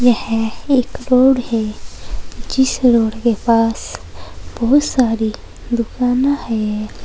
यह एक रोड है जिस रोड के पास बहुत सारी दुकाना है।